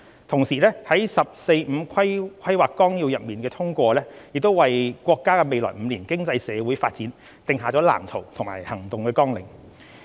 同時，《十四五規劃綱要》的通過亦為國家未來5年經濟社會發展定下藍圖和行動綱領。